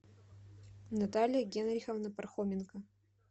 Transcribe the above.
наталья генриховна пархоменко